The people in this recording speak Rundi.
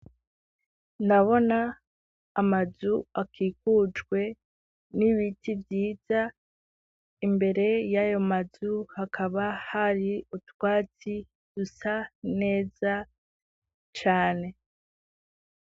Ndabona amazu akikujwe n'ibiti vyiza imbere y'ayo mazu hakaba hari utwatsi dusa neza cane.